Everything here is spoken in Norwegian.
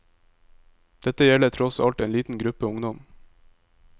Dette gjelder tross alt en liten gruppe ungdom.